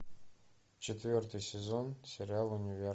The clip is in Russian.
четвертый сезон сериал универ